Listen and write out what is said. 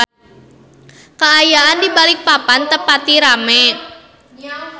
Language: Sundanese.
Kaayaan di Balikpapan teu pati rame